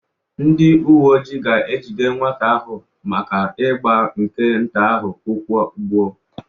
Ndị uwe ojii ga-ejide nwata ahụ maka ịgba nke nta ahụ ụkwụ gbuo